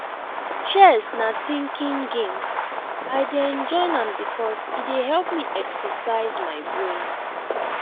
chess na thinking game i dey enjoy am because e dey help me exercise my brain